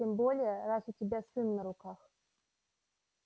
тем более раз у тебя сын на руках